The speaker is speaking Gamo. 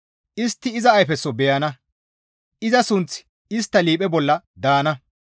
Istti iza ayfeso beyana; iza sunththi istta liiphe bolla daana.